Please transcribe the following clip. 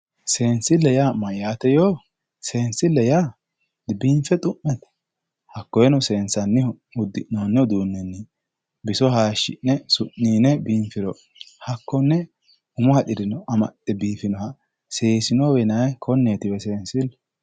Seensille yaa mayyaate yoo? Seensille yaa dibiinfe xu'mate? Hakkoyeeno seensannihu uddi'noonni uduunnini biso haayiishshi'ne su'niine biinfiro hakkonne umo haxire biifinoha seensilleho seesinowe yinayi.